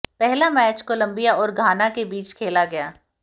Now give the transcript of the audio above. पहला match Colombia और Ghana के बीच खेला गया